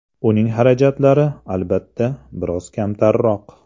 Uning xarajatlari, albatta, biroz kamtarroq.